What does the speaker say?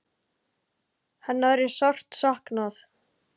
Hennar er sárt saknað.